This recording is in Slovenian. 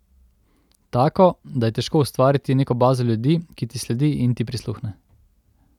Tako, da je težko ustvariti neko bazo ljudi, ki ti sledi in ti prisluhne.